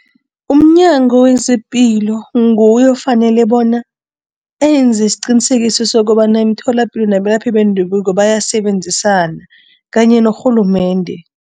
UmNyango wezePilo nguye ofanele bona enze isiqinisekiso sokobana imitholapilo nabelaphi bendabuko bayasebenzisana kanye norhulumende.